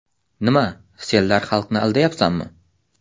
Nima, senlar xalqni aldayapsanmi?